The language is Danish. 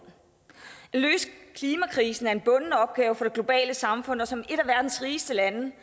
at løse klimakrisen er en bunden opgave for det globale samfund og som et af verdens rigeste lande